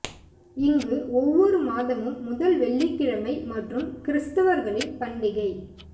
இங்கு ஒவ்வொரு மாதமும் முதல் வெள்ளிக்கிழமை மற்றும் கிறிஸ்தவர்களின் பண்டிகை